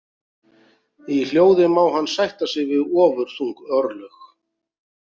Í hljóði má hann sætta sig við ofurþung örlög.